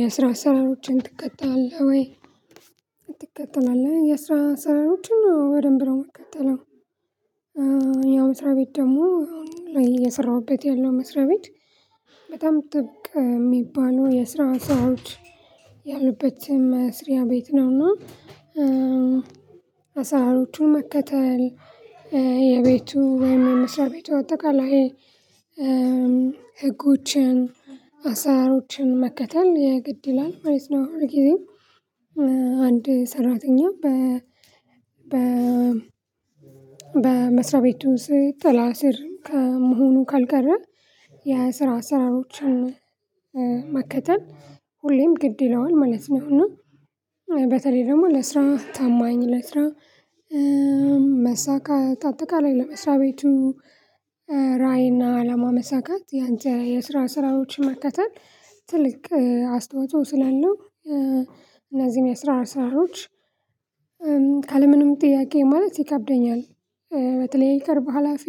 የስራ አሰራሮዎችን ትከታለህ ወይ? ትከታለህ የስራ አስራሮዎችን በደንብ ነው የምትከተለው። ያው መስሪያ ቤት ደግሞ ላይ እየሰራሁበት ያለው መስሪያ ቤት። በጣም ጥብቅ የሚባለው የስራ አሰራሮች ያሉበት መስሪያ ቤት ነውና አሳራሮቹን መከተል የቤቱ ወይም የምስራያ ቤቱ አጠቃላይ ህጎችን አሳሮችን መከተል የግድ ይላል። ማለት ነው አሁን ጊዜ አንድ ሰራተኛ በ በመስሪያ ቤቱ ስት ጥላዐስር ከመሆኑ ካልቀረ የስራ አስራዎችን መከተል ሁሌም ግድ ይለዋል። ማለት ነው እና በተለይ ደግሞ ለስራ ታማኝ ለስራ መሳካት አጠቃላይ ላይ ለመስሪያ ቤቱ ራዕይ እና አላማ መሳካት ያንተ የስራ አሰራሮዎችን መከታተል ትልቅ አስተዋጽኦ ስላለው እና እዚህ አሰራሮዎች እ ካለምንም ጥያቄ ማለት ይከብደኛል። በተለይ ከቅርብ ሀላፊ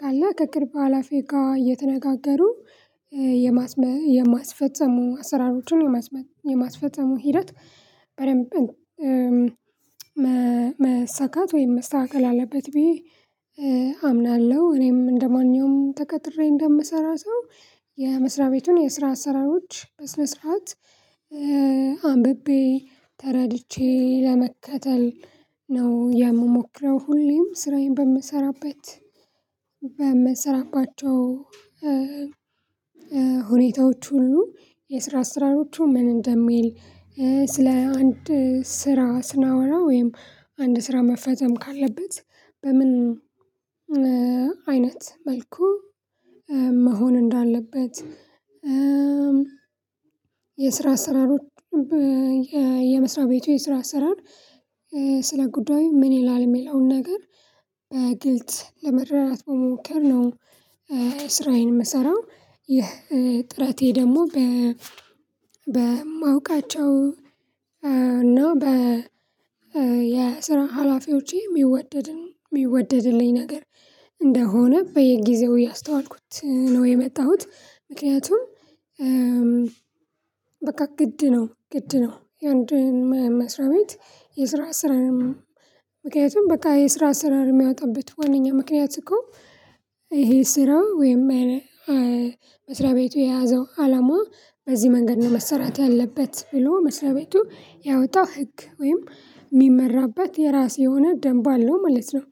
ካለ ከቅርብ ሀላፊ ጋር እየተነጋገሩ የማስመ የማስፈጸሙ አሰራሮችን የማስፈጸሙ ሂደት በደንብ መሳካት ወይም መስተካከል አለበት ብዬ አምናለሁ። እኔም እንደማንኛውም ተቀጥሬ እንደምሰራ ሰው የመስሪያ ቤቱን የስራ አሰራሮች በስነ ስርዓት አንብቤ ተረድቼ ለመከተል ነው የምሞክረው ሁሌም ስራዬን በምሰራበት በምሰራባቸው ሁኔታዎች ሁሉ የስራ አሰራሮዎቹ ምን እንደሚል ስለ አንድ ስራ ስናወራ ወይም አንድ ስራ መፈጸም ካለበት በምን አይነት መልኩ መሆን እንዳለበት የስራ አሰራሮዎች የመስሪያ ቤቱ የስራ አሰራር ስለ ጉዳዩ ምን ይላል? የሚለውን ነገር በግልጽ ለመረዳት በመሞከር ነው ስራዬን የምሰራው። ይህ ጥረቴ ደግሞ በማውቃቸው እና በ የስራ ሀላፊዎቼ የሚወደድን የሚወደድልኝ ነገር እንደሆነ በየጊዜው እያስተዋልኩት ነው የመጣሁት። ምክንያቱም በቃ ግድ ነው ግድ ነው የአንዱን መስሪያ ቤት የስራ አሰራርን ምክንያቱም በቃ የስራ አሰራር የሚያወጣበት ዋናኛው ምክንያት እኮ ይሄ ስራው ወይም መስሪያ ቤቱ የያዘው አላማ በዚህ መንገድ ነው መሰራት ያለበት። ብሎ መስሪያ ቤቱ ያወጣ ህግ ወይም የሚመራበት የራስ የሆነ ደንብ አለው። ማለት ነው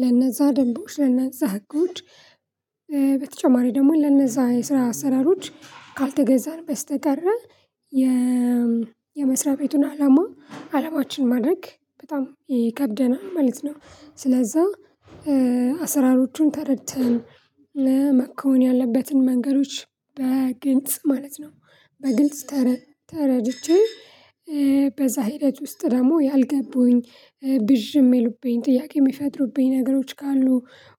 ለነዛ ደንቦች ለነዛ ጉድ በተጨማሪ ደግሞ ለነዛ የስራ አሰራሮች ካልተገዛን በስተቀር የመስሪያ ቤቱን አላማ አላማችን ማድረግ በጣም ይከብደናል። ማለት ነው ስለዛ አሰራሮቹን ተረድተን መኮን ያለበትን መንገዶች በግልጽ ማለት ነው በግልጽ ተረድቼ በዛ ሂደት ውስጥ ደግሞ ያልገቡኝ ብዥ የሚሉብኝ ጥያቄ የሚፈጥሩብኝ ነገሮች ካሉ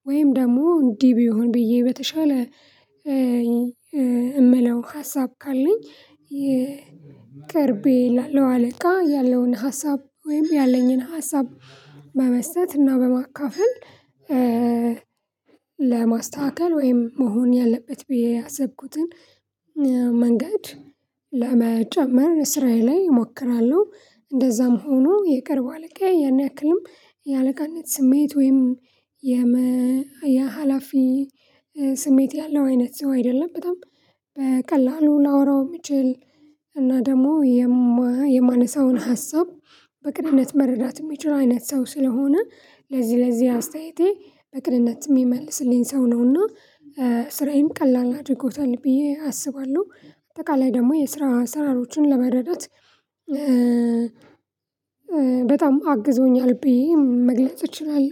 ወይም ደግሞ እንዲህ ቢሆን ብዬ በተሻለ የምለው ሀሳብ ካለኝ የቅርቤ ለአለው ያለውን ሀሳብ ወይም ያለኝን ሀሳብ በመስጠት እና በማካፈል ለማስተካከል ወይም መሆን ያለበት ብዬ ያሰብኩትን መንገድ ለመጨመር ስራዬ ላይ እሞክራለሁ። እንደዛም ሆኖ የቅርብ አለቃ ያን ያክልም የአለቃነት ስሜት ወይም የመ የሀላፊ ስሜት ያለው አይነት ሰው አይደለም። በጣም በቀላሉ ላወራው የሚችል እና ደግሞ የማነሳውን ሀሳብ በቅንነት መረዳት የሚችለው። አይነት ሰው ስለሆነ ለዚህ ለዚህ አስተያየቴ በቅንነትም የሚመልስልኝ ሰው ነውና ስራዬን ቀላል አድርጎታል። ብዬ አስባለሁ። አጠቃላይ ደግሞ የስራ አስራሮችን ለመረዳት በጣም አግዞኛል ብዬ መግለጽ እችላለ።